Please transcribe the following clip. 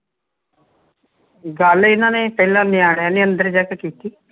ਗੱਲ ਇਨ੍ਹਾਂ ਨੇ ਤਿਨੈ ਨਿਆਣਿਆਂ ਨੇ ਅੰਦਰ ਜਾ ਕੇ ਕੀਤੀ